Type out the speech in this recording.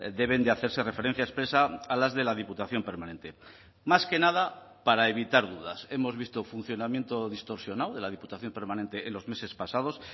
deben de hacerse referencia expresa a las de la diputación permanente más que nada para evitar dudas hemos visto funcionamiento distorsionado de la diputación permanente en los meses pasados